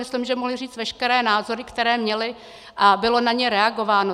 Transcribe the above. Myslím, že mohli říct veškeré názory, které měli, a bylo na ně reagováno.